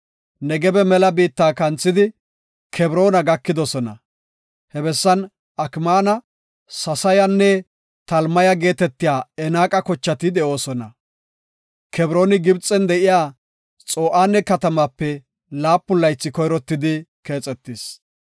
Negebe mela biitta kanthidi, Kebroona gakidosona. He bessan Akmaana, Sesayanne Talmaya geetetiya Enaaqa kochati de7oosona. Kebrooni Gibxen de7iya Xo7aane katamaape laapun laythi koyrottidi keexetis.